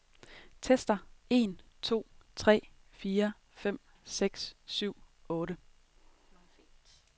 Tester en to tre fire fem seks syv otte.